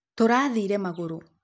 Tũrathĩĩre magũrũ.